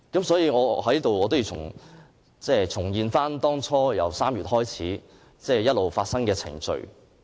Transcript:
所以，我在此要重現由3月開始發生的程序。